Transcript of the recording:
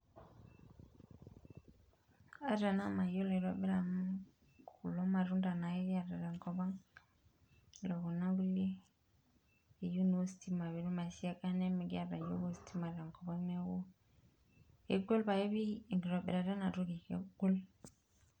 Ata ena mayiolo aitobira amu kulo matunda naake kiata te kop ang ore kuna kulie neyieu naa ositima pee etumoki aisiaga nimikiata yiook ositima enkop ang, neaku egol pae p ekitobirata ena toki egol.